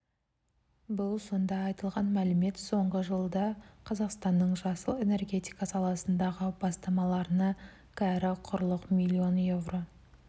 бұл сонда айтылған мәлімет соңғы жылда қазақстанның жасыл энергетика саласындағы бастамаларына кәрі құрлық миллион еуро